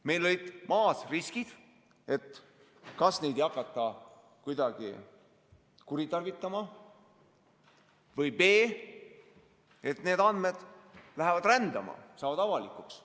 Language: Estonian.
Meil olid riskid: a) kas neid ei hakata kuidagi kuritarvitama või b) need andmed lähevad rändama, saavad avalikuks.